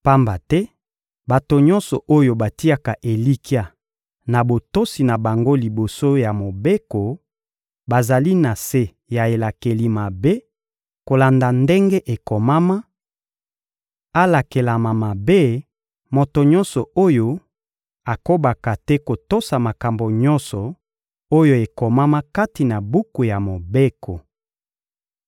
Pamba te bato nyonso oyo batiaka elikya na botosi na bango liboso ya Mobeko bazali na se ya elakeli mabe, kolanda ndenge ekomama: «Alakelama mabe, moto nyonso oyo akobaka te kotosa makambo nyonso oyo ekomama kati na buku ya Mobeko.»